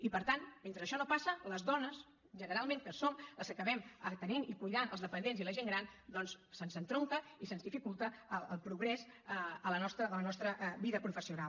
i per tant mentre això no passa a les dones generalment que som les que acabem atenent i cuidant els dependents i la gent gran doncs se’ns estronca i se’ns dificulta el progrés en la nostra vida professional